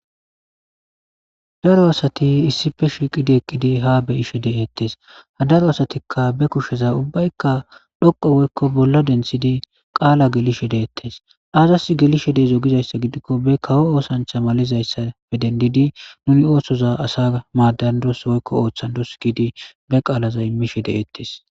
daro asati issife shiiqidi eqqidi ha be'ishe de7eettes ha daro asatikka be kusheza ubbaykka dhoqo woykko bolla dentshidi qaala gelishe deettes aazas gelishe deezogizayssa gidikko be kawo oosancha malizayssa fe dendidi nuni oosoza asa maadandos woykko ooththan dos giidi be qaalaza immishe deeettes